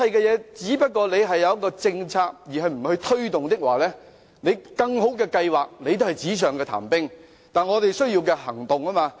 如果只有政策，而不作推動，更好的計劃也只是紙上談兵，但我們需要的是行動。